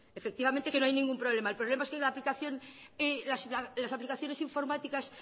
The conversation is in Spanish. efectivamente que no hay ningún problema el problema es que las aplicaciones informáticas